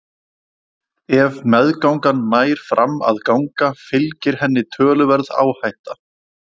Ef meðgangan nær fram að ganga fylgir henni töluverð áhætta.